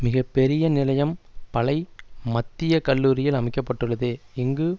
மிக பெரிய நிலையம் பளை மத்திய கல்லூரியில் அமைக்க பட்டுள்ளது இங்கு